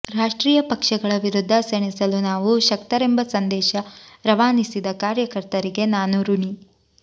ರಾಷ್ಟ್ರೀಯ ಪಕ್ಷಗಳ ವಿರುದ್ಧ ಸೆಣಸಲು ನಾವು ಶಕ್ತರೆಂಬ ಸಂದೇಶ ರವಾನಿಸಿದ ಕಾರ್ಯಕರ್ತರಿಗೆ ನಾನು ಋಣಿ